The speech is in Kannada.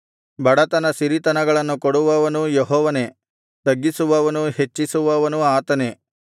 ಬಡತನ ಸಿರಿತನಗಳನ್ನು ಕೊಡುವವನೂ ಯೆಹೋವನೇ ತಗ್ಗಿಸುವವನೂ ಹೆಚ್ಚಿಸುವವನೂ ಆತನೇ